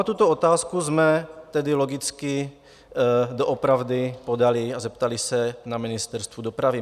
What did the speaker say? A tuto otázku jsme tedy logicky doopravdy podali a zeptali se na Ministerstvu dopravy.